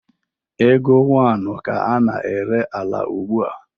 Ego one ka a na-ere ala ugbua?